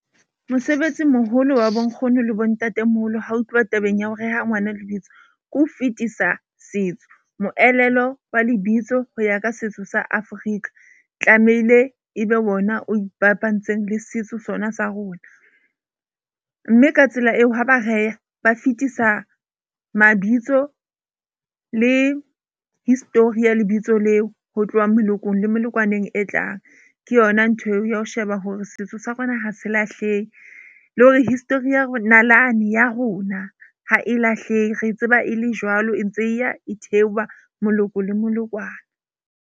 Mosebetsi moholo wa bonkgono le bontatemoholo ha ho tluwa tabeng ya ho reha ngwana lebitso, ke ho fetisa setso, moelelo wa lebitso ho ya ka setso sa Afrika. Tlameile ebe wona o ibabantseng le setso sona sa rona. Mme ka tsela eo, ha ba re a ba fetisa mabitso le history ya lebitso leo. Ho tloha melokong le molokwane e tlang, ke yona ntho eo ya ho sheba hore setso sa rona ha se lahlehe, le hore history nalane ya rona ha e lahlehe. Re tseba e le jwalo, e ntse e ya e theoha, moloko le molokwane.